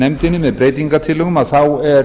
nefndinni með breytingartillögum þá er